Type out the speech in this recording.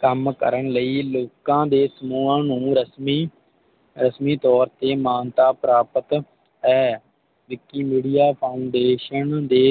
ਕੰਮ ਕਰਨ ਲਈ ਲੋਕਾਂ ਦੇ ਸਮੂਹਾਂ ਰਸਮੀ ਰਸਮੀ ਤੋਰ ਤੇ ਮਾਨਤਾ ਪ੍ਰਾਪਤ ਹੈ Vikimedia Foundation ਦੇ